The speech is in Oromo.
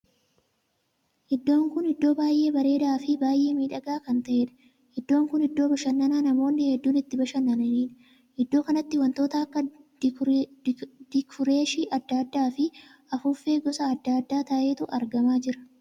Iddoon kun iddoo baay'ee bareedaa fi baay'ee miidhagaa kan taheedha. iddoon kun iddoo bashannan namoonni hedduun itti bashannaniidha. iddoo kanatti wantoota akka dikureeshii addaa addaa fi afuuffee gosa addaa addaa taheetu argamaa jira.